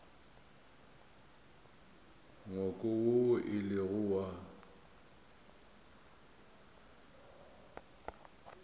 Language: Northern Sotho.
ngwako woo e lego wa